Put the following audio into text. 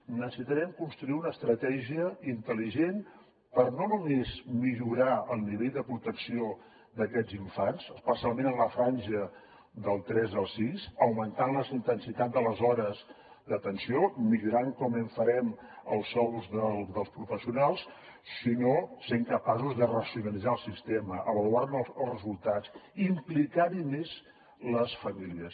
necessitarem construir una estratègia intel·ligent per no només millorar el nivell de protecció d’aquests infants especialment en la franja dels tres als sis augmentant la intensitat de les hores d’atenció millorant com ho farem els sous dels professionals sinó sent capaços de racionalitzar el sistema avaluar ne els resultats i implicar hi més les famílies